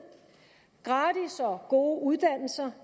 gratis og gode uddannelser